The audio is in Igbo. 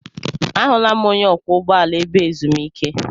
Ahụla m onye ọkwọ ụgbọala ebe ezumike.